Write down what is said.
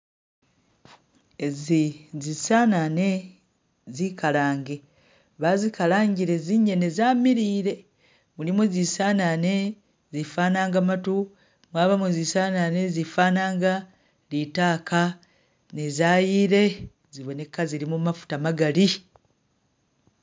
Ezi zisenene zikalange bazikalangile zinyene zamiliyile mulimo zisenene zifanaga matu mwabamo zisenene zifananga litaka ne zayile ziboneka zilimo mafuta magali.